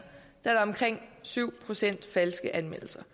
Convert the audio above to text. er der omkring syv procent falske anmeldelser